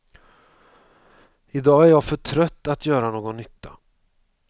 Idag är jag för trött att göra någon nytta.